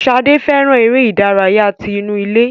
Sade fẹràn eré ìdárayá tí inú ilé.